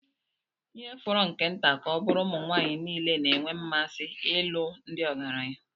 ihe fọrọ nke nta ka ọ bụrụ ụmụ nwanyị niile na-enwe mmasị ịlụ ndị ọgaranya